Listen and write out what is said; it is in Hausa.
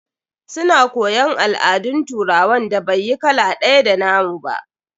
Su na koyon al'adun turawan da bai yi kala ɗaya da nna mu ba.